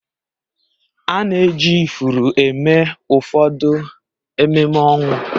A na-eji ifuru eme ụfọdụ ememe ọnwụ